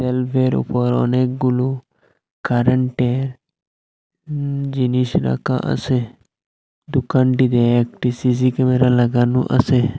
ভাল্বের উপর অনেকগুলো কারেন্টের উ জিনিস রাকা আসে দুকানটিতে একটি সি_সি ক্যামেরা লাগানো আসে।